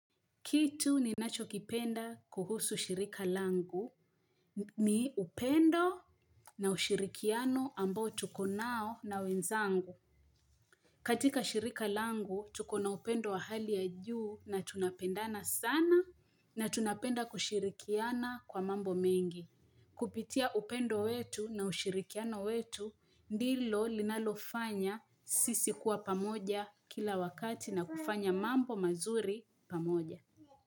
Kitu ninachokipenda kuhusu shirika langu ni upendo na ushirikiano amboo tuko nao na wenzangu katika shirika langu tuko na upendo wa hali ya juu na tunapendana sana na tunapenda kushirikiana kwa mambo mengi Kupitia upendo wetu na ushirikiano wetu ndilo linalofanya sisi kuwa pamoja kila wakati na kufanya mambo mazuri pamoja.